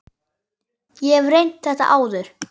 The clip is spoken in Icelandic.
Ég hef reynt þetta áður.